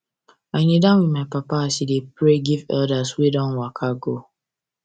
i knee down with my papa as he dey pray give elders wey don waka go